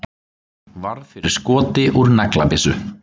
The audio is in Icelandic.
Varð fyrir skoti úr naglabyssu